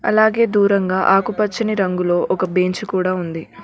అలాగే దూరంగా ఆకుపచ్చని రంగులో ఒక బెంచ్ కూడా ఉంది.